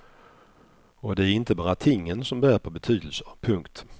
Och det är inte bara tingen som bär på betydelser. punkt